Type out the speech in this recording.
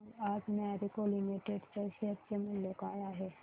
सांगा आज Marico limited च्या शेअर चे मूल्य काय आहे